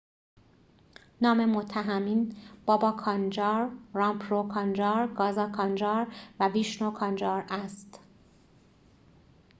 نام متهمین بابا کانجار رامپرو کانجار گازا کانجار و ویشنو کانجار است